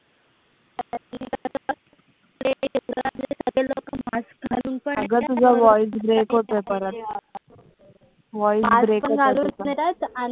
अग तुझा voice break होतोय परत. Voice break होतोय तुझा.